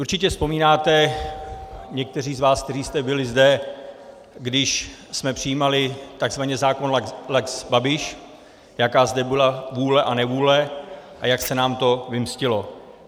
Určitě vzpomínáte někteří z vás, kteří jste byli zde, když jsme přijímali tzv. zákon lex Babiš, jaká zde byla vůle a nevůle a jak se nám to vymstilo.